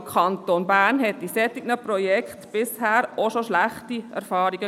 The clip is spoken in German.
Der Kanton Bern machte mit solchen Projekten bisher auch schon schlechte Erfahrungen.